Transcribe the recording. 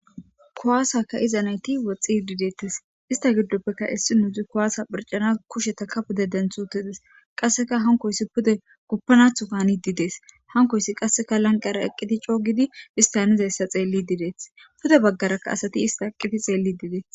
kuwaasaka'iza nayti woxxi hdidettes ista giddoppeka issi nuuzi kowaasa phircana kushetaka pude denthu utides qasseka hankoyssi pude guppanathokani didees hankoyssi qasseka lanqara eqqiti coogidi histanizayssa xeelli didees pude baggaraka asati ista eqqiti xeelli didees